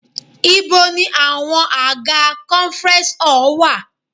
Ibo ni àwọn àga conference hall wá?